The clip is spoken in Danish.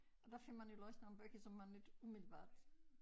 Og der får man jo læst nogle bøger som man ikke umiddelbart